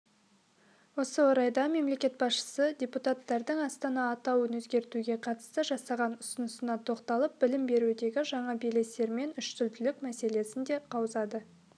осы орайда мемлекет басшысы депутаттардың астана атауын өзгертуге қатысты жасаған ұсынысына тоқталып білім берудегі жаңа белестер мен үштілділік мәселесін де қаузады